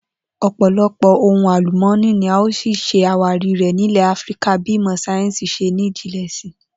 Ò̩pò̩lo̩pò̩ ohun àlùmó̩nì ni a ó s̩ì s̩e àwárí rè̩ nílè̩ Áfíríkà bí ìmò̩ sáyé̩ǹsì s̩e ní jinlè̩ si